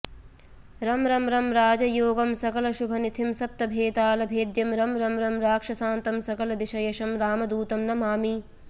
रं रं रं राजयोगं सकलशुभनिथिं सप्तभेतालभेद्यं रं रं रं राक्षसान्तं सकलदिशयशं रामदूतं नमामि